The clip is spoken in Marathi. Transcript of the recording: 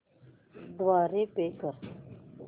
द्वारे पे कर